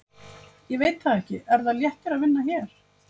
Ég veit það ekki Er það léttir að vinna hér?